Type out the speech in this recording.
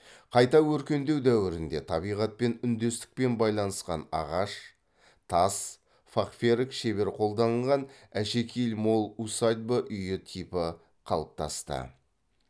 қайта өркендеу дәуірінде табиғатпен үндестікпен байланысқан ағаш тас фахверк шебер қолданылған әшекейі мол усадьба үй типі қалыптасты